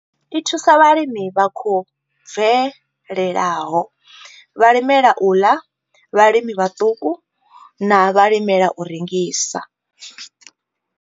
I thusa vhalimi vha khou bvelelaho, vhalimela u ḽa, vhalimi vhaṱuku na vhalimela u rengisa.